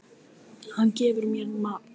Hann gefur mér mat.